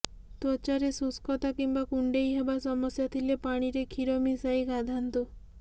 ତ୍ୱଚାରେ ଶୁଷ୍କତା କିମ୍ବା କୁଣ୍ଡେଇହେବା ସମସ୍ୟା ଥିଲେ ପାଣିରେ କ୍ଷୀର ମିଶାଇ ଗାଧାନ୍ତୁ